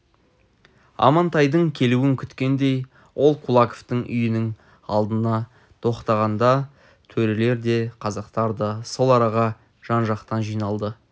амантайдың келуін күткендей ол кулаковтың үйінің алдына тоқтағанда төрелер де казактар да сол араға жан-жақтан жиналды